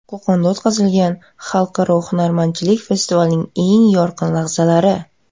Qo‘qonda o‘tkazilgan I Xalqaro hunarmandchilik festivalining eng yorqin lahzalari .